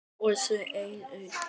Og svo einn enn.